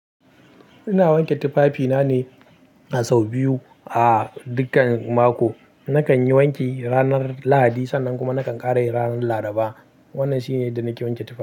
Ina wanke tufafina ne a sau biyu a dukkan mako. Nakan yi wanki ranar Lahadi sannan kuma nakan ƙare ranar Laraba. Wannan shine yanda nake wanke tufafi.